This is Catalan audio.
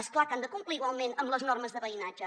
és clar que han de complir igualment amb les normes de veïnatge